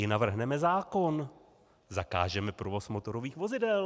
I navrhneme zákon - zakážeme provoz motorových vozidel.